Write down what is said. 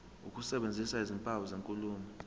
ukusebenzisa izimpawu zenkulumo